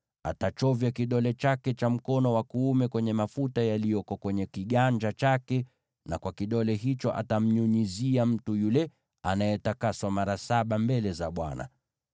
na achovye kidole chake cha shahada cha mkono wake wa kuume kwenye mafuta yaliyoko kwenye kiganja chake, na kwa kidole hicho anyunyize mafuta hayo mara saba mbele za Bwana .